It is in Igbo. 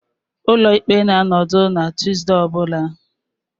Ụlọ ikpe na-anọdụ na Tuesday ọ bụla